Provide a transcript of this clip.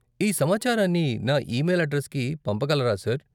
ఈ సమాచారాన్ని నా ఈమెయిల్ అడ్రెస్కి పంపగలరా, సార్?